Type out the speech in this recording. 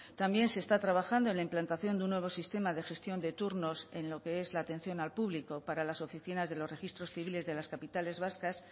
también se está trabajando en la implantación de un nuevo sistema de gestión de turnos en lo que es la atención al público para las oficinas de los registros civiles de las capitales vascas